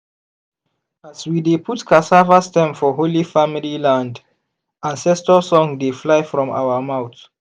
as we dey put cassava stem for holy family land ancestor song dey fly from our mouth.